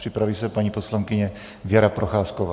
Připraví se paní poslankyně Věra Procházková.